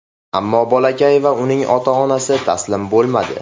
Ammo bolakay va uning ota-onasi taslim bo‘lmadi.